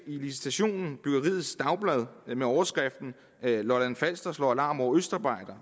licitationen byggeriets dagblad med overskriften lolland falster slår alarm over østarbejdere